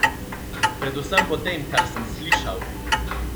Predvsem po tem, kar sem slišal!